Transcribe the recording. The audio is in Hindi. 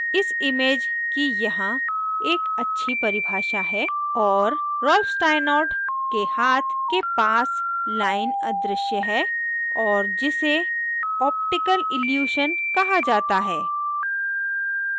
इस image की यहाँ एक अच्छी परिभाषा है और रॉल्फ स्टाइनॉर्ट के हाथ के पास line अदृश्य है और जिसे optical illusion optical illusion कहा जाता है